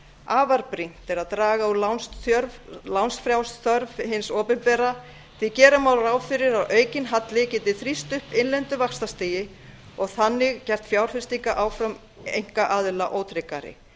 afar brýnt er að draga úr lánsfjárþörf hins opinbera því gera má ráð fyrir að aukinn halli geti þrýst upp innlendu vaxtastigi og þannig gert fjárfestingaráform einkaaðila ótryggari